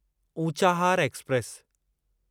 Unchahar express